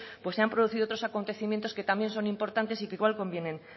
se han producido otros acontecimientos que también son importantes y que también conviene